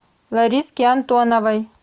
лариски антоновой